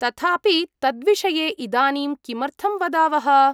तथापि, तद्विषये इदानीं किमर्थं वदावः?